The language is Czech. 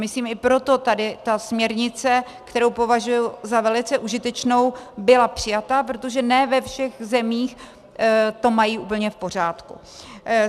Myslím i proto tady ta směrnice, kterou považuji za velice užitečnou, byla přijata, protože ne ve všech zemích to mají úplně v pořádku.